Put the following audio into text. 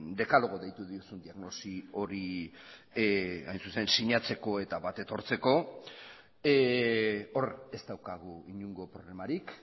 dekalogo deitu diozun diagnosi hori sinatzeko eta bat etortzeko hor ez daukagu inongo problemarik